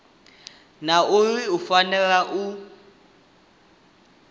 na uri u fanela u